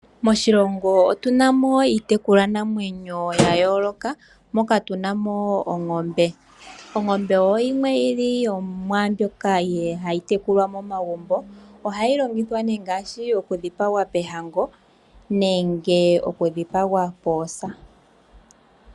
Moshilongo otu na mo iitekulwa namwenyo ya yooloka, moka tu na mo ongombe. Ongombe oyo yimwe yili yomwaambyoka ha yi tekulwa momagumbo. Ohayi longithwa nee okudhipagwa moohango nenge okudhipagwa moosa.